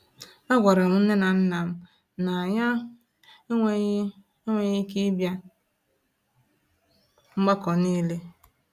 A gwara m nnem na nnam na-anya enweghị enweghị ike ịbịa mgbakọ n'ile